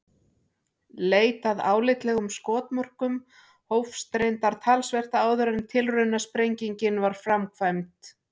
Leit að álitlegum skotmörkum hófst reyndar talsvert áður en tilraunasprengingin var framkvæmd.